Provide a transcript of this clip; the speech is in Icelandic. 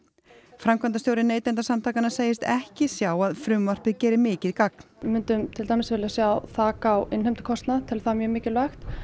framkvæmdastjóri Neytendasamtakanna segist ekki sjá að frumvarpið geri mikið gagn við myndum til dæmis vilja sjá þak á innheimtukostnað teljum það mjög mikilvægt